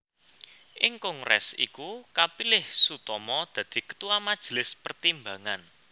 Ing kongrés iku kapilih Soetomo dadi ketua Majelis Pertimbangan